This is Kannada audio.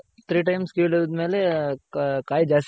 Three Times ಕಿಳದ್ಮೇಲೆ ಕಾಯ್ ಜಾಸ್ತಿ ಆಗ್ ಬಿಡ್ತೈತೆ.